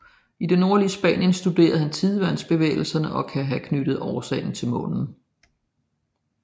I det nordlige Spanien studerede han tidevandsbevægelserne og kan have knyttet årsagen til månen